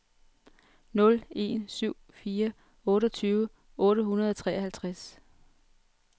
nul en syv fire otteogtyve otte hundrede og treoghalvtreds